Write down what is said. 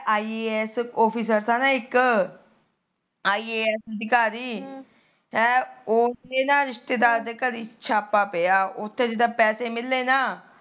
ਹੈ ਉਹਦੇ ਨਾ ਰਿਸ਼ਤੇਦਾਰ ਦੇ ਘਰੇ ਛਾਪਾ ਪਿਆ ਉਥੇ ਜਿਦਾ ਪੈਸੇ ਮਿਲੇ ਨਾ